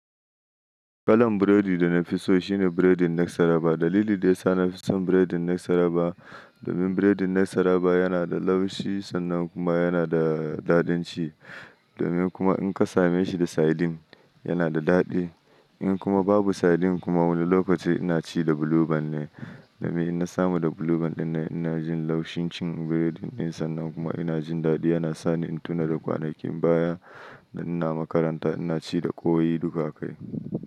Kalan biredi da nafi so shine biredin Nasara. Dalili da ya sa nafi son biredin Nasarawa domin biredin Nasarawa yana da laushi sannan kuma yana da daɗin ci. Domin kuma in ka same shi da saidin, yana da daɗi. In kuma babu saidin kuma wani lokaci ina ci da buluban ne. Domin ina samu da buluban dinnan ina jin laushin cin biredin din sannan kuma ina jin daɗi yana sa ni in tuna da kwanakin baya da ina makaranta ina ci da ƙoi duka akai.